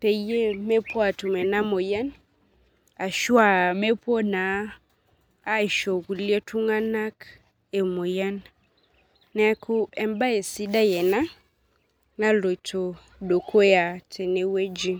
peemepuo atume ena moyian neeku embaye sidai ena naloito dukuya tenewueji